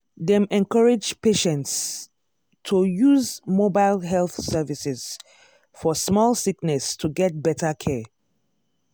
dem encourage patients to use mobile health services for small sickness to get better care.